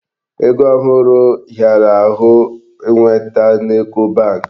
Ego ohụrụ hịara ahụ nweta n'Eco bank.